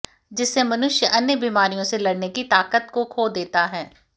जिससे मनुष्य अन्य बीमारियों से लड़ने की ताकत को खो देता है